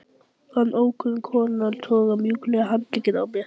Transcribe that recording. Fann ókunnu konuna toga mjúklega í handlegginn á mér